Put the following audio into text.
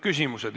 Küsimused.